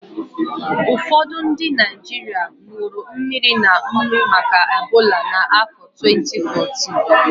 Ụfọdụ ndị Naịjirịa ṅụrụ mmiri na nnu maka Ebola na afọ twenti fourtịn